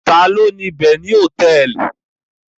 Ta ni ó ni Beni Hòtẹ́ẹ́lì?